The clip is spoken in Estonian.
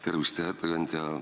Tervist, hea ettekandja!